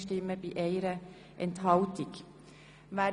Kommissionsmehrheit/Regierungsrat Ja Nein